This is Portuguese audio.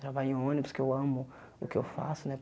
Trabalho em ônibus, que eu amo o que eu faço, né?